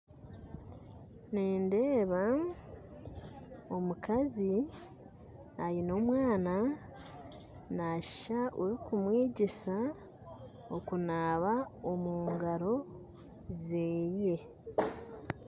Nindeeba omukazi aine omwaana nashuusha orikumwegyesa kunaaba omugaro ze